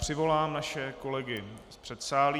Přivolám naše kolegy z předsálí.